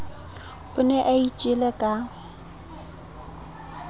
o ne a itjele ka